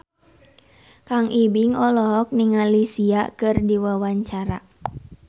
Kang Ibing olohok ningali Sia keur diwawancara